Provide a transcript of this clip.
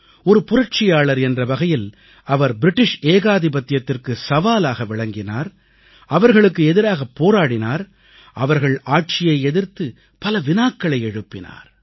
ஒரு புரட்சியாளர் என்ற வகையில் அவர் பிரிட்டிஷ் ஏகாதிபத்தியத்திற்கு சவாலாக விளங்கினார் அவர்களுக்கு எதிராகப் போராடினார் அவர்கள் ஆட்சியை எதிர்த்து பல வினாக்களை எழுப்பினார்